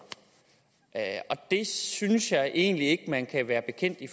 det synes jeg egentlig ikke at man kan være bekendt i